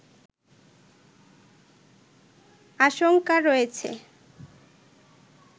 আশংকা রয়েছে